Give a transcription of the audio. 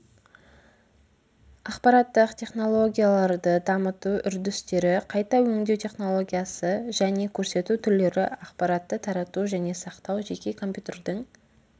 ақпараттық технологияларды дамыту үрдістері қайта өңдеу технологиясы және көрсету түрлері ақпаратты тарату және сақтау жеке компьютердің